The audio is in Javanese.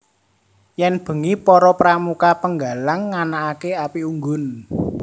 Yen bengi para Pramuka Penggalang nganakaké api unggun